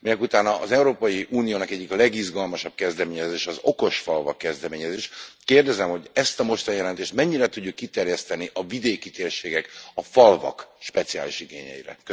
Minekutána az Európai Uniónak egyik legizgalmasabb kezdeményezése az okos falvak kezdeményezés, kérdezem, hogy ezt a mostani jelentést mennyire tudjuk kiterjeszteni a vidéki térségek, a falvak speciális igényeire?